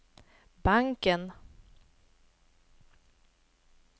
banken